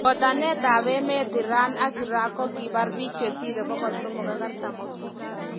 Botanetab emetab Iran ak Iraq kokibaar biik che siirei 348.